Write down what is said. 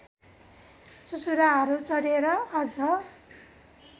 चुचुराहरू चढे र अझ